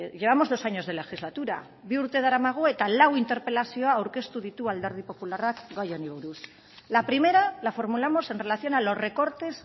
llevamos dos años de legislatura bi urte daramagu eta lau interpelazio aurkeztu ditu alderdi popularrak gai honi buruz la primera la formulamos en relación a los recortes